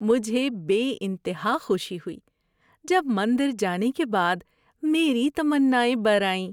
مجھے بے انتہا خوشی ہوئی جب مندر جانے کے بعد میری تمنائیں بر آئیں۔